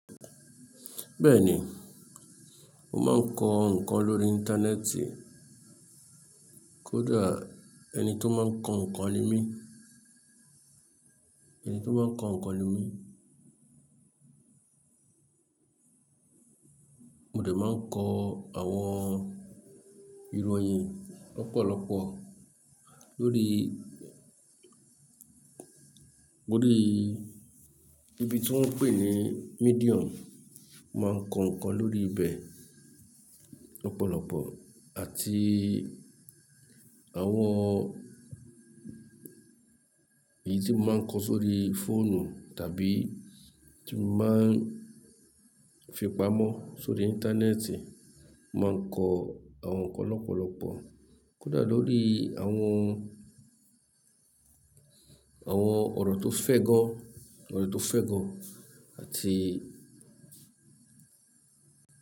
Bẹ́ẹ̀ni, mo máa ń kọ ǹkan lórí Íńtánẹ́ẹ̀tì. Kódà ẹni tí ó máa ń kọ ǹkan ni mí, ẹni tí ó máa ń kọ ǹkan ni mí. Mo dè máa ń kọ àwọn ìròyìn lọ́pọ̀lọpọ̀ lórí, lórí ibi tí wọ́n ń pè ní Medium. Mo máa ń kọ ǹkan lórí ibẹ̀ lọ́pọ̀lọpọ̀ àti àwọn èyí tí mo máa ń kọ sórí fóònù tàbí tí mo máa ń fipamọ́ sórí Íńtánẹ́ẹ̀tì, mo máa ń kọ àwọn ǹkan lọ́pọ̀lọpọ̀. Kódà lórí àwọn, àwọn ọ̀rọ̀ tó fẹ́ gọ́, ọ̀rọ̀ tó fẹ́ gọ́ àti.